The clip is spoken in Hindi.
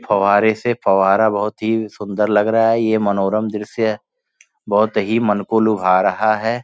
फव्वारे से फ़व्वारा बहुत ही सुंदर लग रहा है ये मनोरम दृश्य बहुत ही मन को लुभा रहा है।